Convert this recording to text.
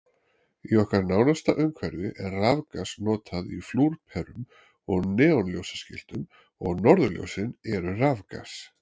Í okkar nánasta umhverfi er rafgas notað í flúrperum og neonljósaskiltum og norðurljósin eru rafgas.